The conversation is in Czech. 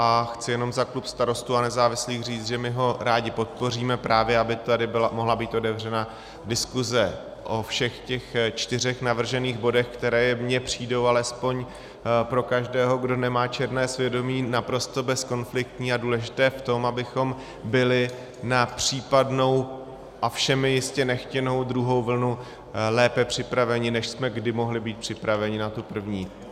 A chci jenom za klub Starostů a nezávislých říct, že my ho rádi podpoříme, právě aby tady mohla být otevřena diskuse o všech těch čtyřech navržených bodech, které mně přijdou alespoň pro každého, kdo nemá černé svědomí, naprosto bezkonfliktní a důležité v tom, abychom byli na případnou a všemi jistě nechtěnou druhou vlnu lépe připraveni, než jsme kdy mohli být připraveni na tu první.